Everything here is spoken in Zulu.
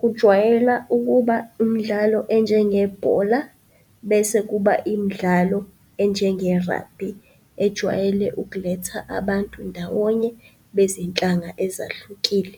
Kujwayela ukuba umdlalo enjengebhola bese kuba imidlalo enjenge-rugby ejwayele ukuletha abantu ndawonye bezinhlanga ezahlukile.